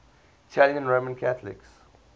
italian roman catholics